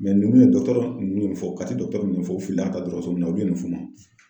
nunnu ye dɔkɔtɔrɔ nunnu ye mun fɔ ,kati dɔgɔtɔrɔ mun fɔ. U fili la ka taa dɔkɔtɔrɔso la olu ye nin f'u ma